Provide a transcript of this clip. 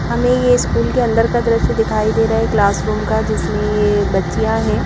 हमें यह स्कूल के अंदर का दृश्य दिखाई दे रहा है क्लासरूम का जिसमें यह बच्चियां हैं ।